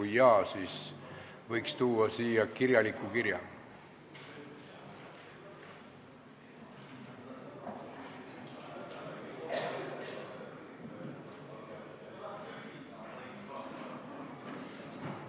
Kui jaa, siis võiks tuua siia selle sisuga kirja.